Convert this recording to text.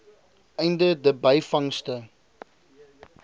einde de byvangste